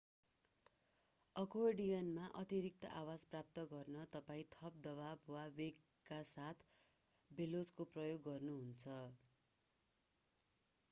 अकोर्डियनमा अतिरिक्त आवाज प्राप्त गर्न तपाईं थप दवाब वा वेगका साथ बेलोजको प्रयोग गर्नुहुन्छ